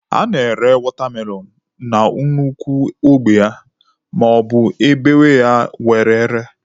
A na-ere watermelon na nnukwu ogbe ya maọbu e bewaa ya were ree.